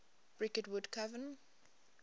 bricket wood coven